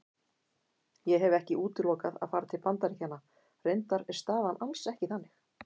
Ég hef ekki útilokað að fara til Bandaríkjanna, reyndar er staðan alls ekki þannig.